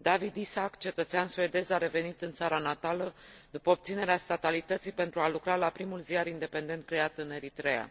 Dawit Isaak, cetățean suedez, a revenit în țara natală după obținerea statalității, pentru a lucra la primul ziar independent creat în Eritreea.